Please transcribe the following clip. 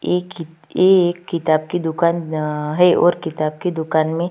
ये कि ये एक किताब की दुकान अअ है और किताब की दुकान में--